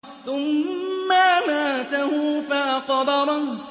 ثُمَّ أَمَاتَهُ فَأَقْبَرَهُ